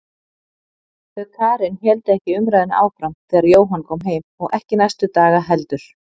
Þau Karen héldu ekki umræðunni áfram þegar Jóhann kom heim og ekki næstu daga heldur.